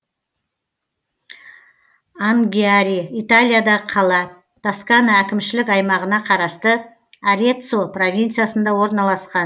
ангьяри италиядағы қала тоскана әкімшілік аймағына қарасты ареццо провинциясында орналасқан